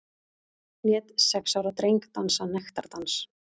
Lét sex ára dreng dansa nektardans